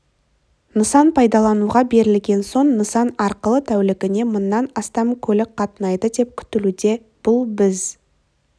нысан пайдалануға берілген соң нысан арқылы тәулігіне мыңнан астам көлік қатынайды деп күтілуде бұл біз